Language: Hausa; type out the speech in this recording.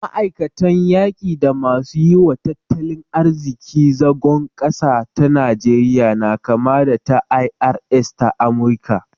Ma'aikatan yaki da masu yi wa tattalin arziki zagon ƙasa ta Najeriya na kama da ta IRS ta Amurika